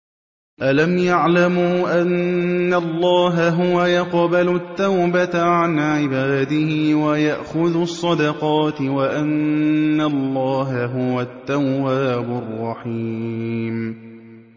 أَلَمْ يَعْلَمُوا أَنَّ اللَّهَ هُوَ يَقْبَلُ التَّوْبَةَ عَنْ عِبَادِهِ وَيَأْخُذُ الصَّدَقَاتِ وَأَنَّ اللَّهَ هُوَ التَّوَّابُ الرَّحِيمُ